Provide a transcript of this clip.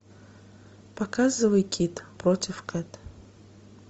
показывай кид против кэт